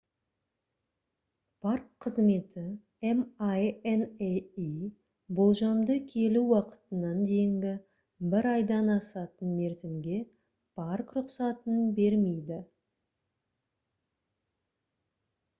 парк қызметі minae болжамды келу уақытынан дейінгі бір айдан асатын мерзімге парк рұқсатын бермейді